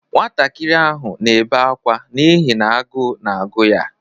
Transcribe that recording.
Nwantakịr ahụ na-ebe akwa n'ihi n'agụụ na-agụ ya.